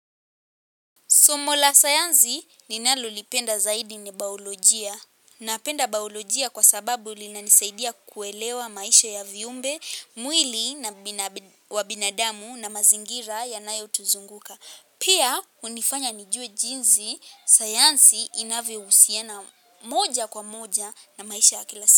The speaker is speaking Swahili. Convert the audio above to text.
Somo la sayansi ninalolipenda zaidi ni bayolojia. Napenda bayolojia kwa sababu linanisaidia kuelewa maisha ya viumbe, mwili wa binadamu na mazingira yanayo tuzunguka. Pia hunifanya nijue jinsi sayansi inavyo husiana moja kwa moja na maisha ya kila si.